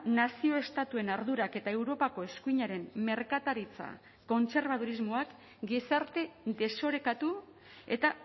nazio estatuen ardurak eta europako eskuinaren merkataritza kontserbadurismoak gizarte desorekatu eta